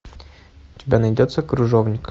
у тебя найдется крыжовник